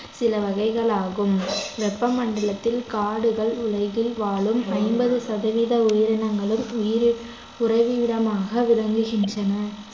சில வகைகளாகும் வெப்பமண்டலத்தில் காடுகள் உலகில் வாழும் ஐம்பது சதவீத உயிரினங்களுள் உயிரி~ உறைவிடமாக விளங்குகின்றன